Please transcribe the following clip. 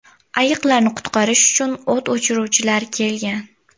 Ayiqlarni qutqarish uchu o‘t o‘chiruvchilar kelgan.